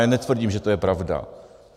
Já netvrdím, že to je pravda.